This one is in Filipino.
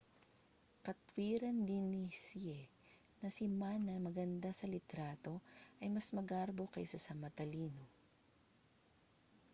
katuwiran din ni hsieh na si ma na maganda sa litrato ay mas magarbo kaysa sa matalino